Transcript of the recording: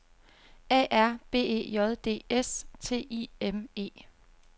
A R B E J D S T I M E